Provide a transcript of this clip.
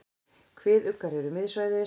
Kviðuggar eru miðsvæðis.